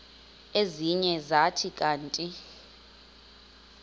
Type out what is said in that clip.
ezinye zathi kanti